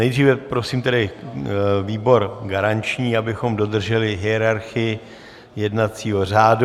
Nejdříve prosím tedy výbor garanční, abychom dodrželi hierarchii jednacího řádu.